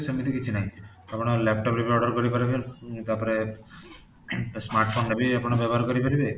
ସେମିତି କିଛି ନାହିଁ ଆପଣ laptop ରେ ବି order କରିପାରିବେ, ତାପରେ smart phone ରେ ବି ଆପଣ ବ୍ୟବହାର କରିପାରିବେ